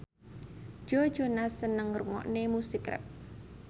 Joe Jonas seneng ngrungokne musik rap